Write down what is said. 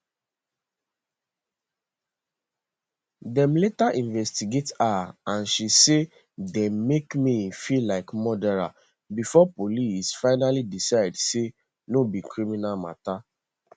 dem later investigate her and she say dem make me feel like murderer before police finaly decide say no be criminal mata